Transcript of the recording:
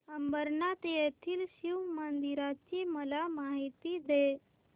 अंबरनाथ येथील शिवमंदिराची मला माहिती दे